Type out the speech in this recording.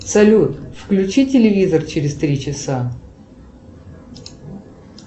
салют включи телевизор через три часа